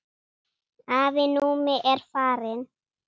Afi Númi er farinn.